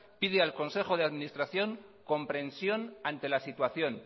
pide al consejo de administración comprensión ante la situación